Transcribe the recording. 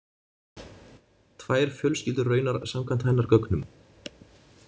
Tvær fjölskyldur raunar samkvæmt hennar gögnum.